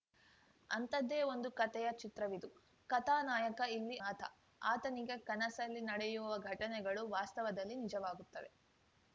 ಅಂಥದ್ದೇ ಒಂದು ಕತೆಯ ಚಿತ್ರವಿದು ಕಥಾ ನಾಯಕ ಇಲ್ಲಿ ಅನಾಥ ಆತನಿಗೆ ಕನಸಲ್ಲಿ ನಡೆಯುವ ಘಟನೆಗಳು ವಾಸ್ತವದಲ್ಲಿ ನಿಜವಾಗುತ್ತವೆ